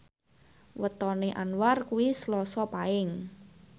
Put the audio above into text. wetone Anwar kuwi Selasa Paing